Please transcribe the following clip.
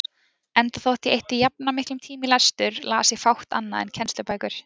Enda þótt ég eyddi jafnan miklum tíma í lestur, las ég fátt annað en kennslubækur.